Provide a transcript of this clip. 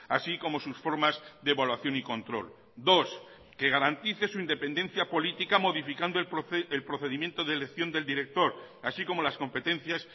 así como sus formas de evaluación y control dos que garantice su independencia política modificando el procedimiento de elección del director así como las competencias